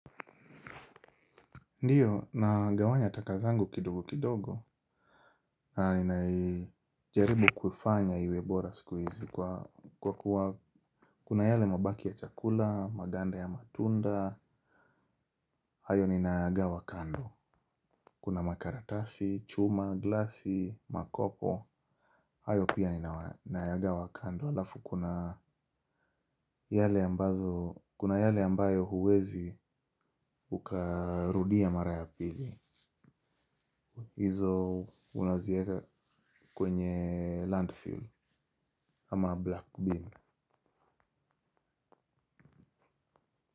Ndiyo nagawanya takazangu kidogo kidogo na ninaijaribu kufanya iwebora siku hizi kwa kuwa kuna yale mabaki ya chakula maganda ya matunda ayo ninayaga wa kando kuna makaratasi chuma glasi makopo ayo pia ninayaga wa kando alafu kuna yale ambazo kuna yale ambayo huwezi ukarudia mara ya pili. Izo unazieka kwenye landfill ama black beam.